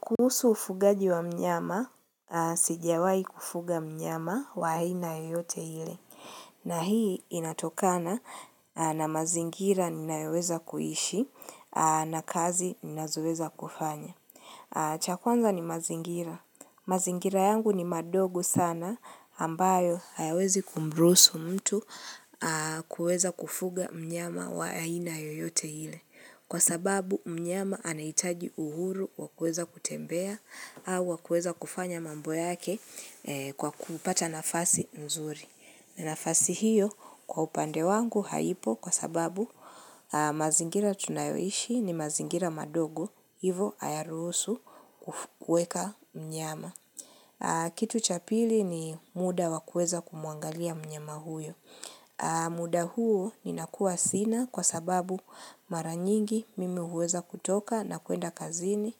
Kuhusu ufugaji wa mnyama, sijawai kufuga mnyama wa aina yeyote ile. Na hii inatokana na mazingira ninayoweza kuishi na kazi ninazoweza kufanya. Cha kwanza ni mazingira. Mazingira yangu ni madogo sana ambayo hayawezi kumruhusu mtu kuweza kufuga mnyama wa aina yoyote ile. Kwa sababu mnyama anahitaji uhuru wa kueza kutembea au wa kueza kufanya mambo yake kwa kupata nafasi mzuri. Na nafasi hiyo kwa upande wangu haipo kwa sababu mazingira tunayoishi ni mazingira madogo. Hivo hayaruhusu kuweka mnyama. Kitu cha pili ni muda wa kueza kumwangalia mnyama huyo. Muda huo ninakuwa sina kwa sababu mara nyingi mimi huweza kutoka na kuenda kazini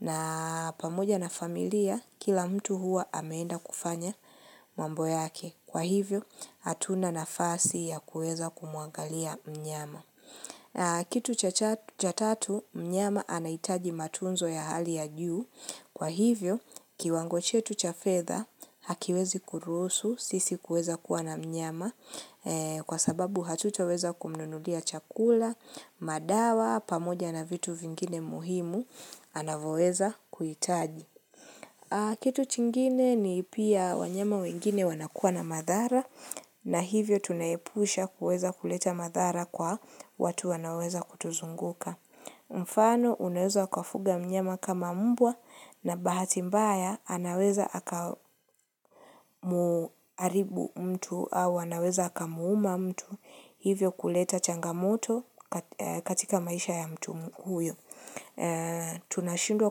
na pamoja na familia kila mtu huwa ameenda kufanya mambo yake Kwa hivyo hatuna nafasi ya kuweza kumwangalia mnyama Kitu cha tatu mnyama anahitaji matunzo ya hali ya juu Kwa hivyo kiwango chetu cha fedha hakiwezi kuruhusu sisi kuweza kuwa na mnyama Kwa sababu hatutaweza kumnunulia chakula, madawa, pamoja na vitu vingine muhimu, anavoweza kuhitaji Kitu chingine ni pia wanyama wengine wanakuwa na madhara na hivyo tunaepusha kuweza kuleta madhara kwa watu wanaweza kutuzunguka Mfano unaweza kafuga mnyama kama mbwa na bahati mbaya anaweza akamuaribu mtu au wanaweza akamuuma mtu Hivyo kuleta changamoto katika maisha ya mtumu huyo Tunashindwa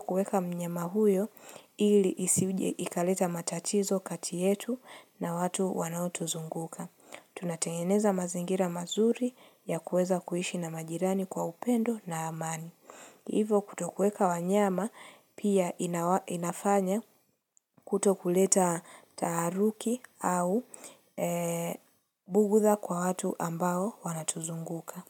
kueka mnyama huyo ili isije ikaleta matatizo kati yetu na watu wanaotuzunguka Tunatengeneza mazingira mazuri ya kuweza kuishi na majirani kwa upendo na amani hivo kutokuweka wanyama pia inafanya kutokuleta taaruki au bugutha kwa watu ambao wanatuzunguka.